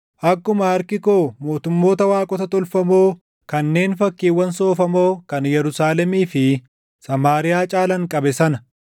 Akkuma harki koo mootummoota waaqota tolfamoo kanneen fakkiiwwan soofamoo kan Yerusaalemii fi // Samaariyaa caalan qabe sana,